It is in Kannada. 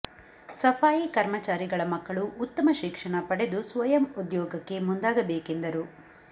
ಸಫಾಯಿ ಕರ್ಮಚಾರಿಗಳ ಮಕ್ಕಳು ಉತ್ತಮ ಶಿಕ್ಷಣ ಪಡೆದು ಸ್ವಯಂ ಉದ್ಯೋಗಕ್ಕೆ ಮುಂದಾಗಬೇಕೆಂದರು